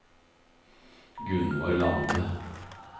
Gunvor Lande